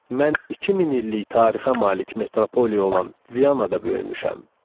Mən 2000 illik tarixə malik metropoliya olan Vianada böyümüşəm.